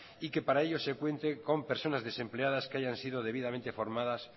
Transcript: y que para ello se cuente con personas desempleadas que hayan sido debidamente formadas